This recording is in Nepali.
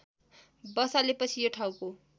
बसालेपछि यो ठाउँको